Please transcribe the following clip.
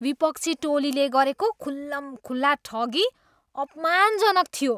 विपक्षी टोलीले गरेको खुल्लमखुल्ला ठगी अपमानजनक थियो।